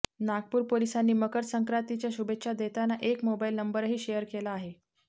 नागपूर पोलिसांनी मक्रर संक्रांतीच्या शुभेच्छा देताना एक मोबाईल नंबरही शेअर केला आहे